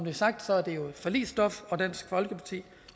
er sagt er det jo forligsstof og dansk folkeparti